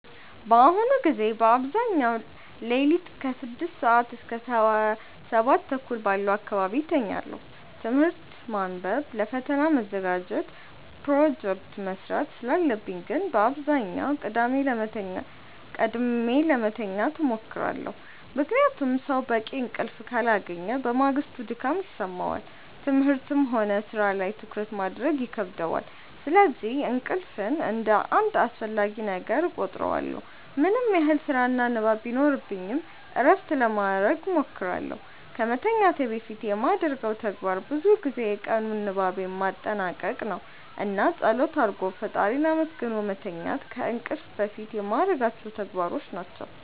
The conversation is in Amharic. በአሁኑ ጊዜ በአብዛኛው ሌሊት ከ6 ሰዓት እስከ 7:30 ባለው አካባቢ እተኛለሁ። ትምህርት ማንበብ ለፈተና መዘጋጀት ፕሮጀክት መስራት ስላለብኝ ግን በአብዛኛው ቀድሜ ለመተኛት እሞክራለሁ። ምክንያቱም ሰው በቂ እንቅልፍ ካላገኘ በማግስቱ ድካም ይሰማዋል፣ ትምህርትም ሆነ ሥራ ላይ ትኩረት ማድረግ ይከብደዋል። ስለዚህ እንቅልፍን እንደ አንድ አስፈላጊ ነገር እቆጥረዋለሁ። ምንም ያህል ስራና ንባብ ቢኖርብኝ እረፍት ለማረግ እሞክራለሁ። ከመተኛቴ በፊት የማደርገው ተግባር ብዙ ጊዜ የቀኑን ንባቤን ማጠናቀቅ ነው። እና ፀሎት አርጎ ፈጣሪን አመስግኖ መተኛት ከእንቅልፍ በፊት የማረጋቸው ተግባሮች ናቸው።